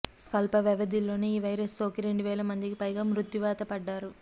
స్వల్ప వ్యవధిలోనే ఈ వైరస్ సోకి రెండు వేల మందికి పైగా మృత్యువాత పడ్డారు